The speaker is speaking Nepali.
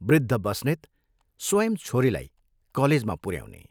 वृद्ध बस्नेत स्वयं छोरीलाई कलेजमा पुऱ्याउने।